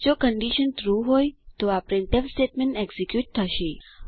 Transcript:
જો condition true હોય તો આ પ્રિન્ટફ સ્ટેટમેન્ટ એક્ઝીક્યુટ થશે